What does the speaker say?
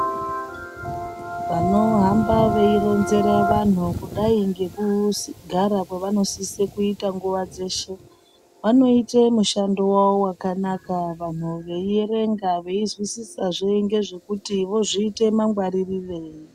Vanohamba veironzera vanhu kudai ngekugara kwavanosise kuita nguwa dzeshe vanoite mushando wawo wakanaka vanhu veierenga veizwisisazve ngezvekuti zvozviite mangwaririrei.